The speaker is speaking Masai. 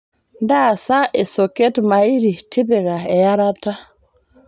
ntaasa esoket mairi tipika earata